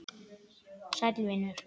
Sæll vinur